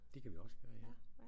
Det kan vi også gøre ja